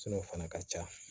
o fana ka ca